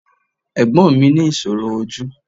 Ẹ̀gbọ́n mi ní ìṣòro ojú